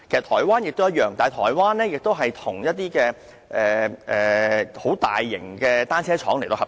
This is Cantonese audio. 台灣也一樣，但台灣與一些大型的單車廠合作。